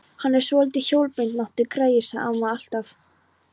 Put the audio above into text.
Hann er svolítið hjólbeinóttur, greyið, sagði amma alltaf.